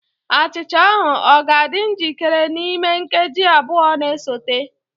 Achịcha ahụ ọ ga-adị njikere n'ime nkeji abụọ na-esote?